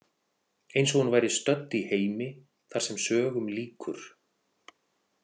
Eins og hún væri stödd í heimi þar sem sögum lýkur.